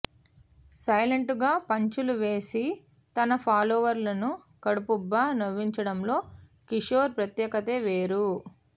సైలెంటుగా పంచ్లు వేసి తన ఫాలోవర్లను కడుపుబ్బ నవ్వించడంలో కిషోర్ ప్రత్యేకతే వేరు